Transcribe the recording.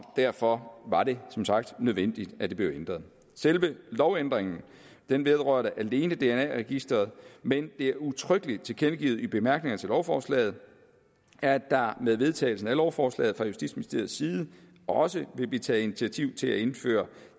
derfor var det som sagt nødvendigt at det blev ændret selve lovændringen vedrørte alene dna registeret men det er udtrykkeligt tilkendegivet i bemærkningerne til lovforslaget at der med vedtagelsen af lovforslaget fra justitsministeriets side også vil blive taget initiativ til at indføre